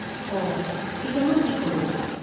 অঁ! এতিয়া মই কি কৰোঁ?